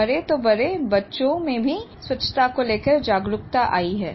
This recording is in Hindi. बड़े तो बड़े बच्चों में भी स्वच्छता को लेकर जागरूकता आई है